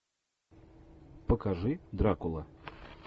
покажи дракула